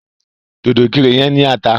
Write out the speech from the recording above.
Dòdò ìkirè yẹn ní ata.